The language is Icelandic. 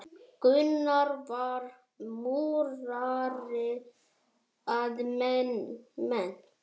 Gunnar var múrari að mennt.